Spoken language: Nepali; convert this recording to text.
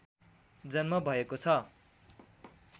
जन्म भएको छ